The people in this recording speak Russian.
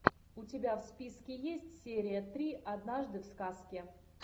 у тебя в списке есть серия три однажды в сказке